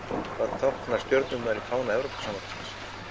Hvað tákna stjörnurnar í fána Evrópusambandsins?